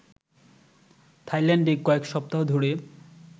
থাইল্যান্ডে কয়েক সপ্তাহ ধরে